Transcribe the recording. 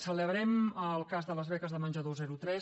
celebrem el cas de les beques de menjador zero tres